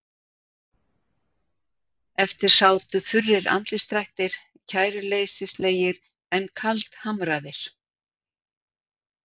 Eftir sátu þurrir andlitsdrættir, kæruleysislegir en kaldhamraðir.